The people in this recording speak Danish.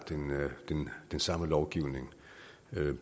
den samme lovgivning